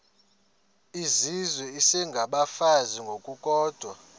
izizwe isengabafazi ngokukodwa